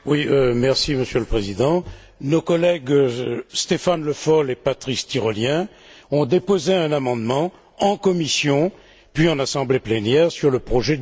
Monsieur le Président, nos collègues Stéphane Le Foll et Patrice Tirolien ont déposé un amendement en commission, puis en assemblée plénière, sur le projet de budget